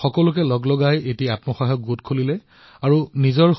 যি মিলত তেওঁলোকে কাম কৰিছিল সেই মিলৰ মালিকে নিজৰ যন্ত্ৰ বিক্ৰী কৰিবলৈ বিচাৰিছিল